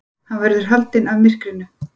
Hann verður haldinn af myrkrinu.